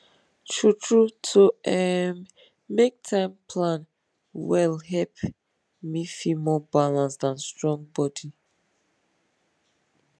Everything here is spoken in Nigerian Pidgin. truetrue to um make time plan wellhelp me feel more balanced and strong body